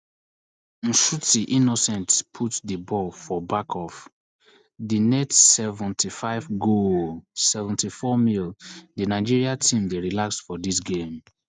nshuti innocent put di ball for back of di net seventy-five goooaaaaallll seventy-fourmins di nigeria team dey relaxed for dis game